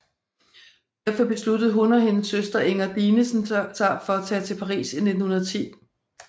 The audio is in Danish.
Derfor besluttede hun og hendes søster Inger Dinesen sig for at tage til Paris i 1910